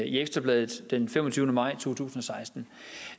i ekstra bladet den femogtyvende maj to tusind og seksten